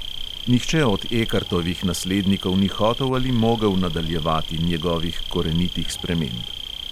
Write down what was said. Nihče od ekartovih naslednikov ni hotel ali mogel nadaljevati njegovih korenitih sprememb.